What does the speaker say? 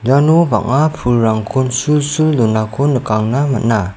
iano bang·a pulrangkon sul sul donako nikangna man·a.